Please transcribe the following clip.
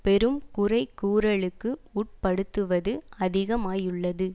பெரும் குறைகூறலுக்கு உட்படுத்துவது அதிகமாயுள்ளது